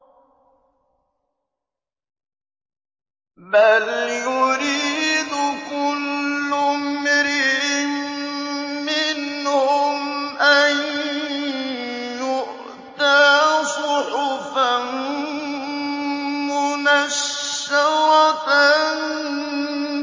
بَلْ يُرِيدُ كُلُّ امْرِئٍ مِّنْهُمْ أَن يُؤْتَىٰ صُحُفًا مُّنَشَّرَةً